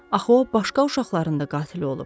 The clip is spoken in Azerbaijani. Axı o başqa uşaqların da qatili olub.